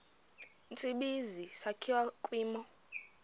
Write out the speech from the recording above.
tsibizi sakhiwa kwimo